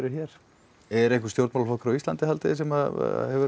hér er einhver stjórnmálaflokkur á Íslandi sem hefur